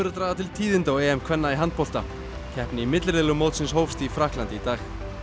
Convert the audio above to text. draga til tíðinda á EM kvenna í handbolta keppni í milliriðlum mótsins hófst í Frakklandi í dag